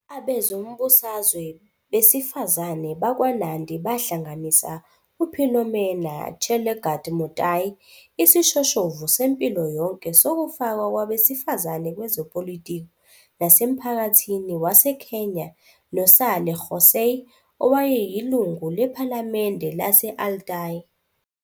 Abezombusazwe besifazane bakwaNandi bahlanganisa uPhilomena Chelagat Mutai, isishoshovu sempilo yonke sokufakwa kwabesifazane kwezepolitiki nasemphakathini waseKenya, noSally Kosgei, owayeyilungu lePhalamende lase- Aldai.